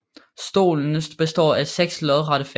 Stolen består af seks lodrette fag